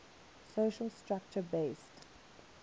social structure based